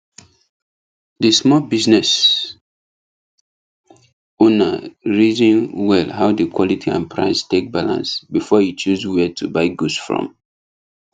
the small business owner reason well how the quality and price take balance before e choose where to buy goods from